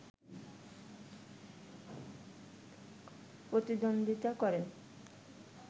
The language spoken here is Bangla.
প্রতিদ্বন্দ্বিতা করেন